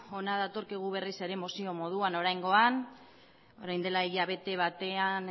hona datorkigu berriz ere mozio moduan oraingoan orain dela hilabete batean